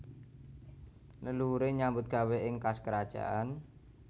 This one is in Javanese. Leluhure nyambut gawé ing kas kerajaan